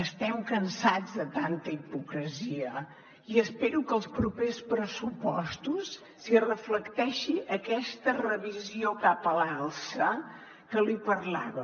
estem cansats de tanta hipocresia i espero que als propers pressupostos s’hi reflecteixi aquesta revisió cap a l’alça que li parlava